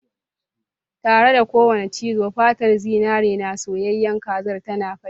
Tare da kowane cizo, fatar zinare na soyayyen kazar tana fashe.